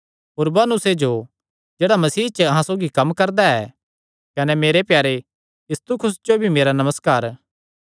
उरबानुसे जो जेह्ड़ा मसीह च अहां सौगी कम्म करदा ऐ कने मेरे प्यारे इस्तखुस जो भी मेरा नमस्कार